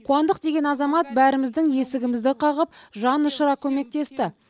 қуандық деген азамат бәріміздің есігімізді қағып жан ұшыра көмектесті